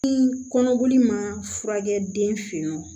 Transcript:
Ni kɔnɔboli ma furakɛ den fe yen nɔ